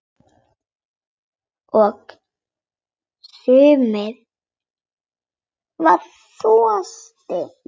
Og samur var þroski minn.